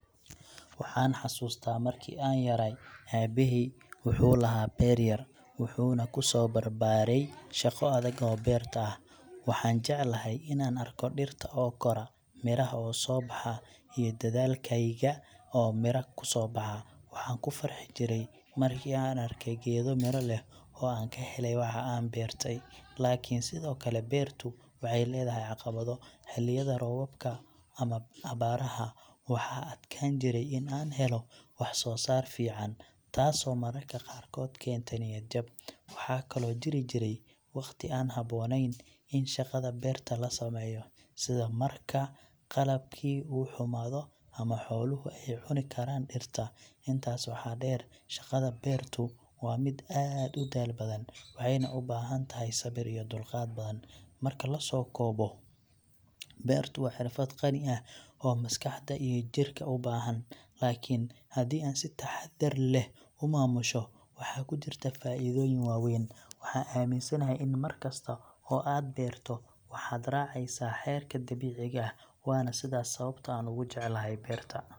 Waxaan xasuustaa markii aan yaraay, aabbahay wuxuu lahaa beer yar, wuxaanu ku soo barbaaray shaqo adag oo beerta ah. Waxaan jeclahay inaan arko dhirta oo kora, miraha oo soo baxa, iyo dadaalkayga oo miro ka soo baxa. Waxaan ku farxi jiray markii aan arkay geedo miro leh oo aan ka helay waxa aan beertay. Laakiin, sidoo kale, beertu waxay leedahay caqabado. Xilliyada roobabka ama abaaraha, waxaa adkaan jiray in aan helo wax soo saar fiican, taasoo mararka qaarkood keenta niyad jab. Waxaa kaloo jiri jiray wakhti aan habboonayn in shaqada beerta la sameeyo, sida marka qalabkii uu xumaado ama xooluhu ay cuni karaan dhirta. Intaas waxaa dheer, shaqada beertu waa mid aad u daal badan, waxayna u baahan tahay sabir iyo dulqaad badan. Marka la soo koobo, beertu waa xirfad qani ah oo maskaxda iyo jidhka u baahan, laakiin haddii aad si taxadar leh u maamusho, waxaa ku jirta faa'iidooyin waaweyn. Waxaa aaminsanahay in mar kasta oo aad beerto, waxaad raacaysaa xeerarka dabiiciga ah, waana sidaas sababta aan ugu jecelahay beerta.